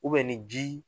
ni ji